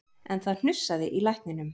En það hnussaði í lækninum